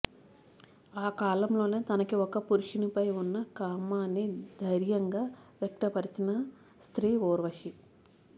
ఆ కాలంలోనే తనకి ఒక పురుషునిపై ఉన్న కామాన్ని ధైర్యం గా వ్యక్తపరిచిన స్త్రీ ఊర్వశి